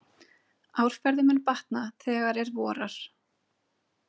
Árferði mun batna þegar er vorar.